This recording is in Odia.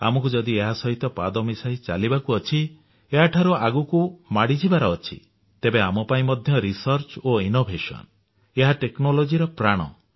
ଆମକୁ ଯଦି ଏହା ସହିତ ପାଦ ମିଶାଇ ଚାଲିବାବୁ ଅଛି ଏହାଠାରୁ ଆଗକୁ ମାଡି ଯିବାର ଅଛି ତେବେ ଆମ ପାଇଁ ମଧ୍ୟ ଗବେଷଣା ଓ ଉଦ୍ଭାବନ ଏହା ଟେକ୍ନୋଲୋଜିର ପ୍ରାଣ